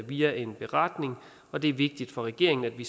via en beretning og det er vigtigt for regeringen at vi